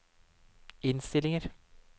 innstillinger